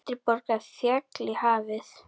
Eldri borgari féll í hafið